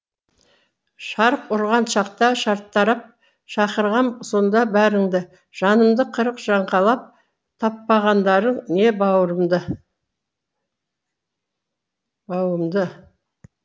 шарқ ұрған шақта шартарап шақырғам сонда бәріңді жанымды қырық жаңқалап таппағандарың не бауырымды бауымды